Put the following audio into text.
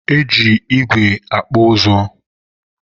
e ji igwe akpụ ụzụ.